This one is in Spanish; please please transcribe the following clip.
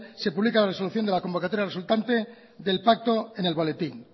se publica la resolución de la convocatoria resultante del pacto en el boletín